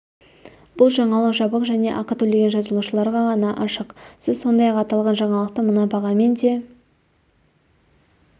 бұл жаңалық жабық және ақы төлеген жазылушыларға ғана ашық сіз сондай-ақ аталған жаңалықты мына бағамен де